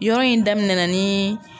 Yɔrɔ in daminɛnna ni